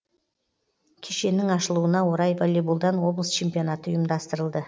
кешеннің ашылуына орай волейболдан облыс чемпионаты ұйымдастырылды